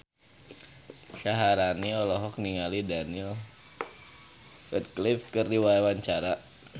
Syaharani olohok ningali Daniel Radcliffe keur diwawancara